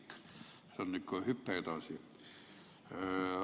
See on ikka hüpe edasi.